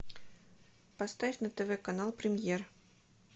поставь на тв канал премьер